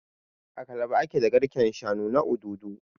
A Calabar ake da garken shanu na Obudu